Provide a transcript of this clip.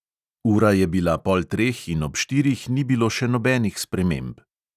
Ura je bila pol treh in ob štirih ni bilo še nobenih sprememb.